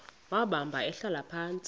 wahamba ehlala phantsi